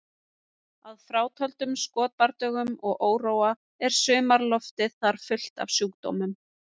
Að frátöldum skotbardögum og óróa er sumarloftið þar fullt af sjúkdómum